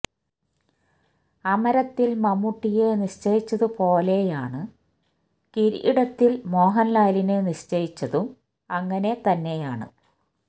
അമരത്തില് മമ്മൂട്ടിയെ നിശ്ചയിച്ചതു പോലെയാണ് കിരീടത്തില് മോഹന്ലാലിനെ നിശ്ചയിച്ചതും അങ്ങനെ തന്നെയാണ്